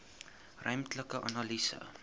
ruimtelike analise